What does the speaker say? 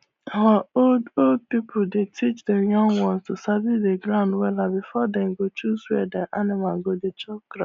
our old old pipu dey teach dem young ones to sabi the ground wella before dem go choose where dem animal go dey chop grass